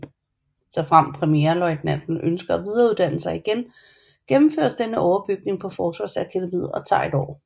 Såfremt premierløjtnanten ønsker at videreuddanne sig igen gennemføres denne overbygning på Forsvarsakademiet og tager 1 år